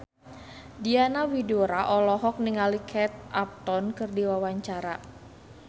Diana Widoera olohok ningali Kate Upton keur diwawancara